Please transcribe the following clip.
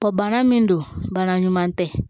Kɔ bana min don bana ɲuman tɛ